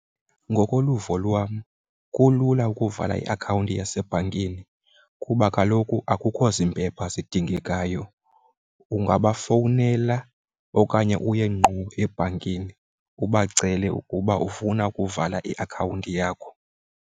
Ngokoluvo lwam kulula ukuvala iakhawunti yasebhankini kuba kaloku akukho zimpepha zidingekakeyo. Ungabafowunela okanye uye ngqo ebhankini ubacele ukuba ufuna ukuvala iakhawunti yakho.